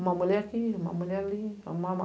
Uma mulher aqui, uma mulher ali.